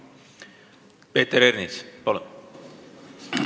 Peeter Ernits, palun!